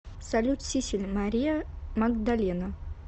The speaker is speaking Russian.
салют сиссель мария магдалена